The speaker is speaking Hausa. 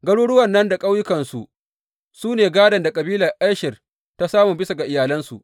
Garuruwan nan da ƙauyukansu su ne gādon da kabilar Asher ta samu bisa ga iyalansu.